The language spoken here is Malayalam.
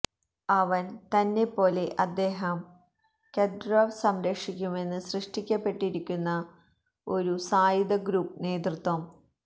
അവൻ തന്നെ പോലെ അദ്ദേഹം കദ്യ്രൊവ് സംരക്ഷിക്കുമെന്ന് സൃഷ്ടിക്കപ്പെട്ടിരിക്കുന്നു ഒരു സായുധ ഗ്രൂപ്പ് നേതൃത്വം